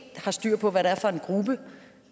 har styr på hvad det er for en gruppe